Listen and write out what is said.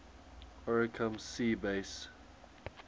oricum sea base